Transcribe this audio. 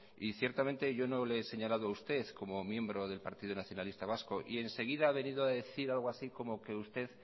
y ciertamente yo no le he señalado a usted como miembro del partido nacionalista vasco y enseguida ha venido a decir algo así como que usted